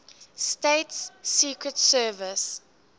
states secret service